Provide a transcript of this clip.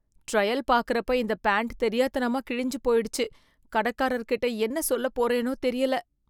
Trial பார்க்கறப்ப இந்த pant தெரியாத்தனமா கிழிஞ்சு போயிடுச்சு. கடைக்காரர்கிட்ட என்ன சொல்லப் போறேனோ தெரியல?